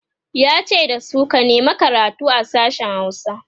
yace dasu "ka nema karatu a sashen Hausa!"